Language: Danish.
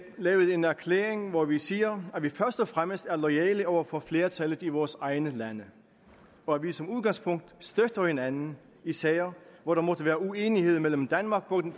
lavet en erklæring hvor vi siger at vi først og fremmest er loyale over for flertallet i vores egne lande og at vi som udgangspunkt støtter hinanden i sager hvor der måtte være uenighed mellem danmark på den